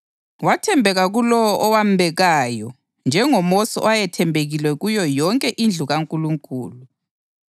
Wathembeka kulowo owambekayo, njengoMosi owayethembekile kuyo yonke indlu kaNkulunkulu.